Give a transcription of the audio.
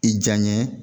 I janɲɛ